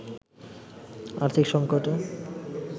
আর্থিক সঙ্কটে